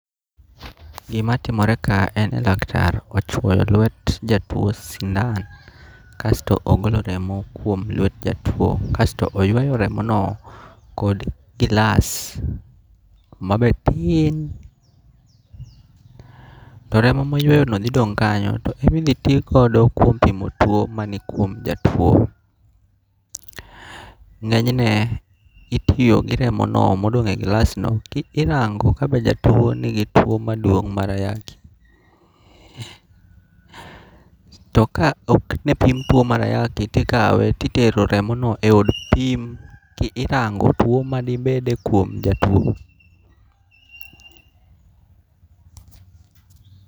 Gimatimore kae en ni laktar ochuoyo lwet jatuo sindan, kasto ogolo remo kuom lwet jatuo kasto oyweyo remono kod gilas ma be tin, to remo ma oyweyno thi dong' kanyo to imithi ti godo kuom pimo tuwo manikuom jatuo, nge'nyne itiyo gi remono madong' e glassno kirango ka be jatuo be nigi tuo maduong' marayaki, to ka ok ne opim tuwo mar ayaki to ikawe to itero remono e od pim kirango' tuwo manibede kuom jatuo.